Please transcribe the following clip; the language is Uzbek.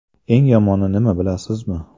Eng yomoni nima bilasizmi?